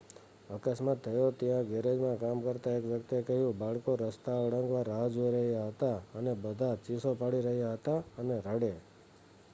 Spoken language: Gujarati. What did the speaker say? "અકસ્માત થયો ત્યાં ગેરેજમાં કામ કરતા એક વ્યક્તિએ કહ્યું: "બાળકો રસ્તા ઓળંગવા રાહ જોઈ રહ્યા હતા અને બધા ચીસો પાડી રહ્યા હતા અને રડે.""